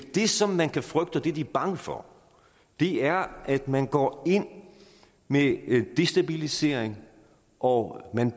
det som man kan frygte og det de er bange for er at man går ind med destabilisering og at man